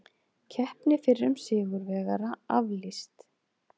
Keppni fyrrum sigurvegara aflýst